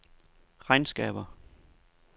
regnskaber